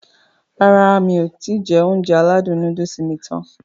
Rárá mi kò ti jẹ Ounjẹ aládùn nóódùsì mi tán